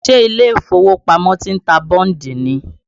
Ṣé ilé ìfowópamọ́ ti ń ta bọ́ǹdì ni?